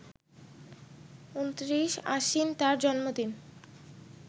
২৯ আশ্বিন তার জন্মদিন